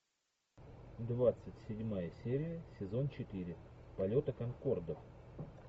двадцать седьмая серия сезон четыре полета конкордов